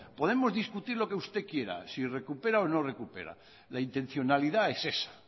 podemos discutir lo que usted quiera si recupera o no recupera la intencionalidad es esa